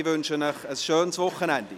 Ich wünsche Ihnen ein schönes Wochenende.